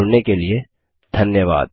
हमसे जुड़ने के लिए धन्यवाद